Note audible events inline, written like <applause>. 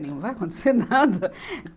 Não vai acontecer nada. <laughs>